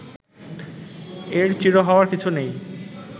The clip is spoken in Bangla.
এর ‘চির’ হওয়ার কিছু নেই